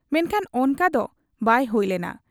ᱢᱮᱱᱠᱷᱟᱱ ᱚᱱᱠᱟ ᱫᱚ ᱵᱟᱭ ᱦᱩᱭ ᱞᱮᱱᱟ ᱾